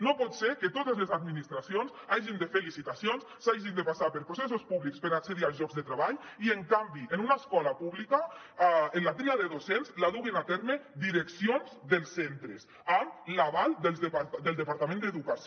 no pot ser que totes les administracions hagin de fer licitacions s’hagi de passar per processos públics per accedir als llocs de treball i en canvi en una escola pública la tria de docents la duguin a terme direccions dels centres amb l’aval del departament d’educació